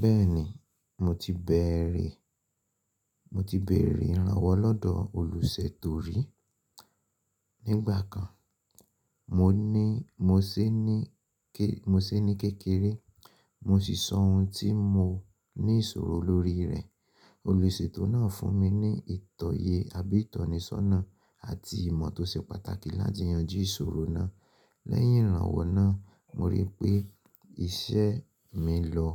Bẹ́ẹ̀ni, mo ti béèrè, mo ti béèrè ìrànwọ́ lọ́dọ̀ olùsètò rí. Ní ìgbà kan, mo ni mo sé ní kékeré, mo si sọ oun tí mo ní ìsòro lórí rẹ̀. Olùsètò náà fún mi ní ìtọ́ye àbí ìtọ́nisọ́nà àti ìmọ̀ tó se pàtàkì láti yanjú ìsòro náà. Lẹ́yìn ìrànwọ́ náà, mo rí pé iṣẹ́ mi lọ